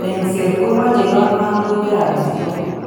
Engset kemoche yon mamuch therapies tugul.